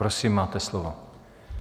Prosím, máte slovo.